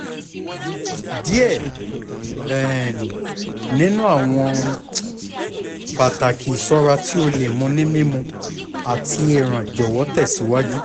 diẹ um ninu awọn um pataki iṣọra ti o le mu ni mimu ati eran jọwọ tẹsiwaju